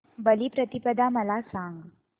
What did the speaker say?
बलिप्रतिपदा मला सांग